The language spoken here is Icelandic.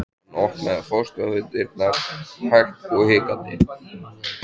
Hann opnaði forstofudyrnar hægt og hikandi.